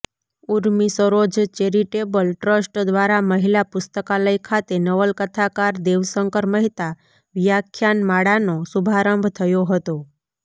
Urmisaroj charitable trust દ્રારા મહિલા પુસ્તકાલય ખાતે નવલકથાકાર દેવશંકર મહેતા વ્યાખ્યાનમાળાનો શુભારંભ થયો હતો